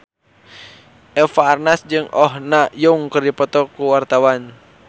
Eva Arnaz jeung Oh Ha Young keur dipoto ku wartawan